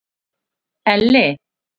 Elli